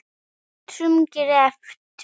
Öllum greftri